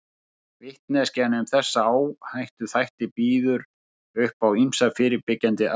Vitneskjan um þessa áhættuþætti býður upp á ýmsar fyrirbyggjandi aðgerðir.